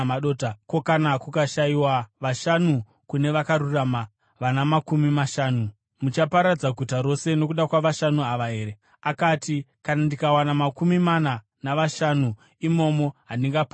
ko, kana kukashayikwa vashanu kune vakarurama vana makumi mashanu? Muchaparadza guta rose nokuda kwavashanu ava here?” Akati, “Kana ndikawana makumi mana navashanu imomo, handingariparadzi.”